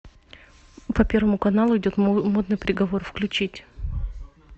по первому каналу идет модный приговор включить